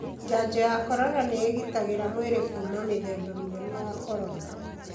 Janjo ya corona nĩigitagĩra mwĩrĩ kuma mĩthemba mĩerũ ya corona.